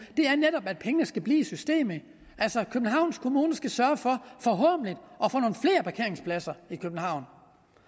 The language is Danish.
det er netop at pengene skal blive i systemet altså københavns kommune skal sørge for at parkeringspladser i københavn